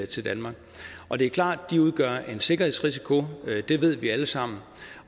til danmark og det er klart at de udgør en sikkerhedsrisiko det ved vi alle sammen